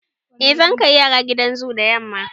Eh, zan kai yara gidan zoo da yamma.